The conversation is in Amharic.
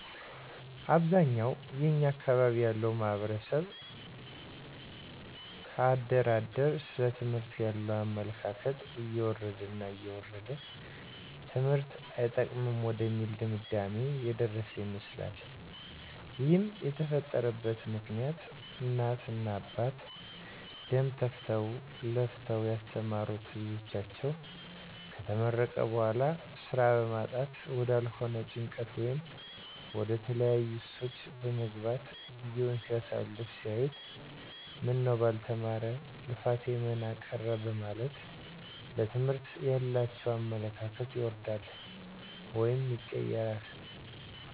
አብዛኛውን የኛ አካባቢ ያለው ማህበረሰብ ከአደር አደር ስለ ትምህርት ያለው አመለካከት እየወረደ እየወረደ ትምህርት አይጠቅምም ወደሚል ድምዳሜ የደረሰ ይመስላል ይህም የተፈጠረበት ምክኒያት እናት እና አባት ደም ተፍተው ለፍተው ያስተማሩት ልጃቸው ከተመረቀ በኋላ ስራ በማጣት ወዳልሆነ ጭንቀት ወይም ወደተለያዩ ሱሶች በመግባት ጊዜውን ሲያሳልፍ ሲያዩት ምነው ባልተማረ ልፋቴ መና ቀረ በማለት ለትምህርት ያላቸው አመለካከት ይወርዳል ወይም ይቀየራል